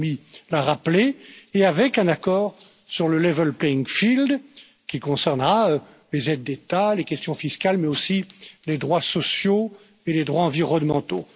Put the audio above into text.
Bellamy l'a rappelé, et avec un accord sur le level playing field qui concernera les aides d'État, les questions fiscales, mais aussi les droits sociaux et les droits environnementaux.